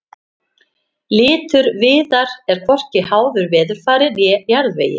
litur viðar er hvorki háður veðurfari né jarðvegi